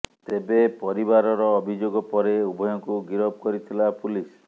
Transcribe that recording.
ତେବେ ପରିବାରର ଅଭିଯୋଗ ପରେ ଉଭୟଙ୍କୁ ଗିରଫ କରିଥିଲା ପୁଲିସ୍